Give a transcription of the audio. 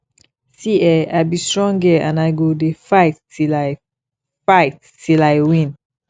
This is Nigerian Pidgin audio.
see eh i be strong girl and i go dey fight till i fight till i win